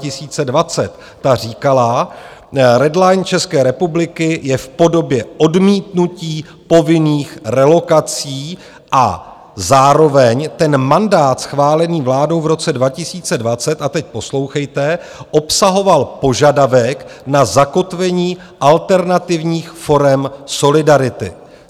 Ta říkala: Red line České republiky je v podobě odmítnutí povinných relokací a zároveň ten mandát schválený vládou v roce 2020, a teď poslouchejte, obsahoval požadavek na zakotvení alternativních forem solidarity.